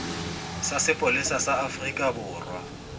sa sepolesa sa afrika borwa